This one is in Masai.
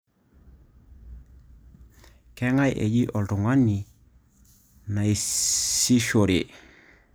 Kang'ae eji oltung'ani niasishore?